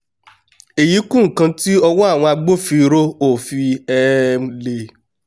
èyí kún nǹkan tí ọwọ́ àwọn agbófinró ọ̀ fi um lè